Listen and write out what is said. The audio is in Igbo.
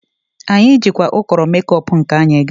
Anyị jikwa ụkọrọ mekop nke anyị gaa.